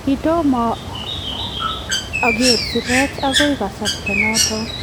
kitomo ager sigiriet akoy kasarta notok